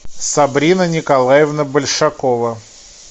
сабрина николаевна большакова